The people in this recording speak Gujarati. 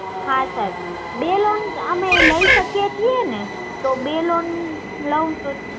હા સર બે loan અમે લઇ શકીયે છીએ ને તો બે loan લઉ તો